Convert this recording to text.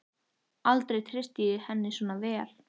Aldrei treysti ég henni svona vel.